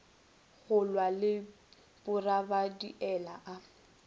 go lwa le bogabariele a